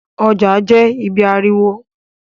Ọjà jẹ́ ibí ariwo